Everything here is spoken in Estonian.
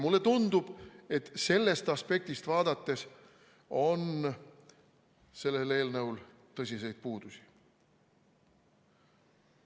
Mulle tundub, et sellest aspektist vaadates on sellel eelnõul tõsiseid puudusi.